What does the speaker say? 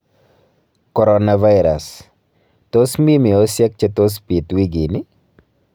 Coronavirus : Tos mii meosyek che tos biit wikini?